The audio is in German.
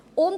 Zum AFP